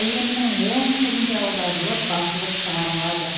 әлемнің он тіліне аударылып басылып шығарылады